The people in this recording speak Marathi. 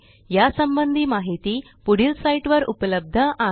यासंबंधी माहिती पुढील साईटवर उपलब्ध आहे